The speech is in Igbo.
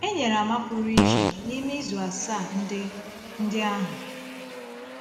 E nyere àmà pụrụ iche n’ime izu asaa ndị ndị ahụ.